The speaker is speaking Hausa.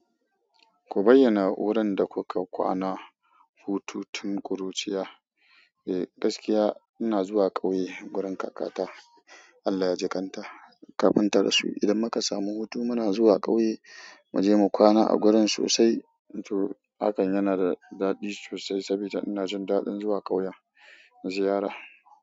Ku bayyana wurin da kuka kwana, hutu tun ƙuruciya. Eh gaskiya ina zuwa ƙauye wurin kakata Allah yajikanta, kafin tarasu idan muka samu hutu muna zuwa ƙauye, muje mu kwana a gurin sosai. To hakan yanada daɗi sosai saboda ina jindaɗin zuwa ƙauye ziyara.